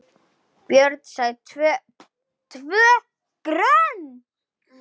Björn sagði TVÖ GRÖND!